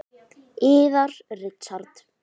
Yðar Richard